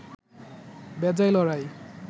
বেজায় লড়াই